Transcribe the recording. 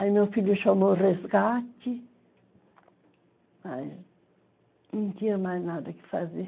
Aí meu filho chamou o resgate, mas não tinha mais nada que fazer.